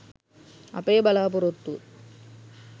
අපේ බලාපොරොත්තුව.